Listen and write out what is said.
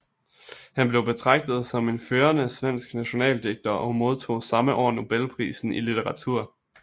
Han blev betragtet som en førende svensk nationaldigter og modtog samme år nobelprisen i litteratur